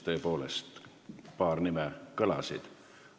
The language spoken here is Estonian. Tõepoolest, paar nime kõlasid.